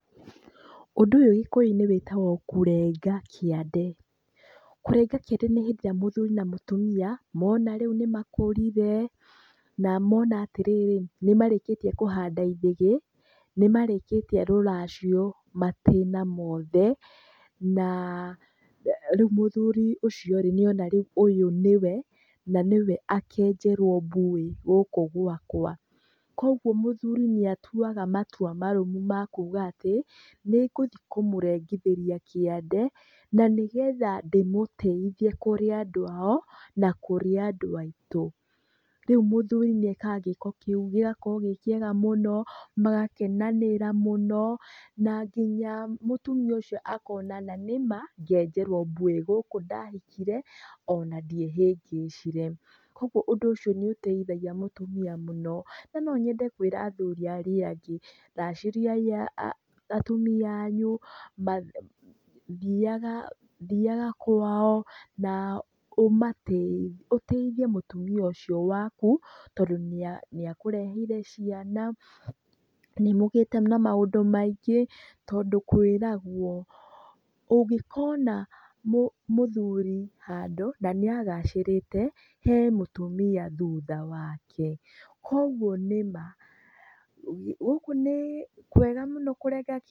Ũndũ ũyũ Gĩkũyũ-inĩ wĩtagwo Kũrenga Kiande. Kũrenga kiande nĩ hĩndĩ ĩrĩa mũthuri na mũtumia mona nĩ makũrire na mona atĩrĩrĩ, nĩ marĩkĩtie kũhanda ĩthĩgĩ, nĩ marĩkĩtie rũracio matĩna mothe, na rĩu mũthurĩ ũcio rĩ niona rĩu ũyũ ni we na nĩ we akenjerũo mbuĩ gũkũ gwakwa. Kwoguo mũthuri nĩ atuaga matua marũmu ma kuuga atĩ, nĩ ngũthiĩ kũmũrengithĩria kiande na nĩgetha ndĩmũtĩithie kũrĩ andũ ao na kũrĩ andũ aitũ. Rĩu mũthuri nĩ ekaga gĩĩko kĩu, gĩgakorũo gĩ kĩega mũno, magakenanĩra mũno na nginya mũtumia ũcio akona na nĩ ma, ngenjerũo mbuĩ gũkũ ndahikire ona ndiehĩngĩcire. Kwoguo ũndũ ũcio nĩ ũteithagia mũtũmia mũno. Na no nyende kwĩra athuri arĩa angĩ, racĩriai atumia anyu, thiaga kwao na ũtĩithie mũtumia ũcio waku tondũ niakũreheire ciana, nĩmũgĩte na maũndũ maingi, tondũ kwĩragũo ũngĩkona mũthuri handũ na nĩ agacĩrĩte, he mũtumia thutha wake. Kwoguo nĩ ma, ũguo nĩ kwega mũno kũrenga k...